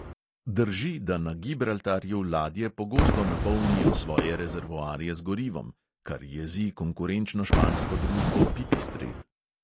Drži, da na gibraltarju ladje pogosto napolnijo svoje rezervoarje z gorivom (kar jezi konkurenčno špansko družbo pipistrel).